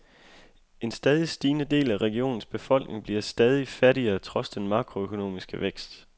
En stadig stigende del af regionens befolkning bliver stadig fattigere trods den makroøkonomiske vækst.